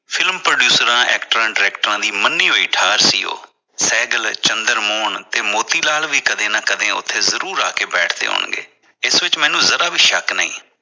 film producer actor director ਦੀ ਮੰਨੀ ਹੋਈ ਠਾਰ ਸੀ। ਉਹ ਸਹਿਜ ਚੰਦਰ ਮੋਹਨ ਤੇ ਮੋਤੀਲਾਲ ਵੀ ਕਦੇ ਨਾ ਕਦੇ ਉਥੇ ਜਰੂਰ ਆ ਕੇ ਬੈਠੇ ਹੋਣਗੇ, ਇਸ ਵਿਚ ਮੈਨੂੰ ਜਰਾ ਵੀ ਸ਼ੱਕ ਨਹੀਂ।